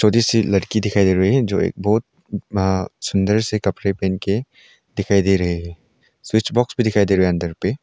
जैसी लड़की दिखाई दे रही है जो एक बहुत सुंदर से कपड़े पहन के दिखाई दे रहे हैं स्विच बॉक्स भी दिखाई दे रहा है अंदर पे।